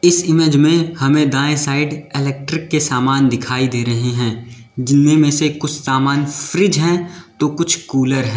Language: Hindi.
इस इमेज में हमें दाएं साइड इलेक्ट्रिक के समान दिखाई दे रहे हैं जिनमें में से कुछ सामान फ्रिज है तो कुछ कुलर हैं।